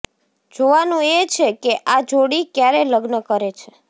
જોવાનુ એ છેકે આ જોડી ક્યારે લગ્ન કરે છે